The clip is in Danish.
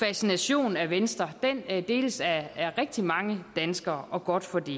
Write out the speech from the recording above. fascination af venstre den deles af rigtig mange danskere og godt for det